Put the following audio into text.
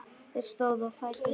Þeir stóðu á fætur.